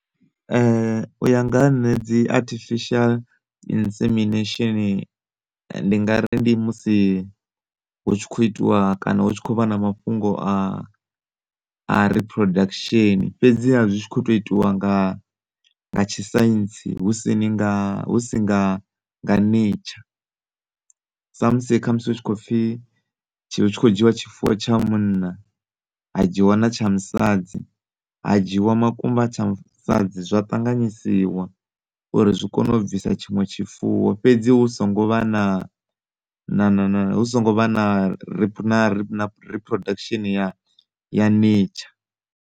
Uya nga ha nṋe dzi artificial insemination ndi ngari ndi musi hu tshi kho itiwa kana hu tshi kho vha na mafhungo a a reproduction fhedzi ha zwi tshi khoto itiwa nga tshi science husini nga husi nga nga nature, sa musi kha musi hu tshi kho pfi tshi kho dzhiwa tshifuwo tsha munna ha dzhiwa na tsha musadzi ha dzhiwa makumba a tsha musadzi zwa ṱanganyisiwa uri zwi kone u bvisa tshiṅwe tshifuwo fhedzi hu songo vha na na na na hu songo vha na reproduction ya nature.